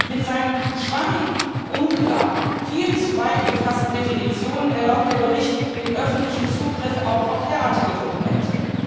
Mit seinen schwammigen, unklaren, viel zu weit gefassten Definitionen erlaubt der Bericht den öffentlichen Zugriff auch auf derartige Dokumente.